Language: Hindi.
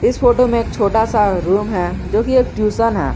इस फोटो में एक छोटा सा रूम है जो कि एक ट्यूशन है।